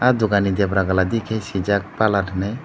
dokan ni debra gala digi parlour hi.